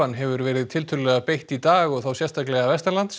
hefur verið tiltölulega beitt í dag og þá sérstaklega